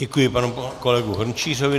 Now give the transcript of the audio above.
Děkuji panu kolegovi Hrnčířovi.